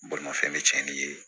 Bolimafɛn bɛ cɛnnin ye